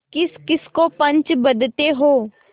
किसकिस को पंच बदते हो